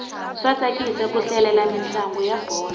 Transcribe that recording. swa tsakisa ku hlalela mintlangu ya bolo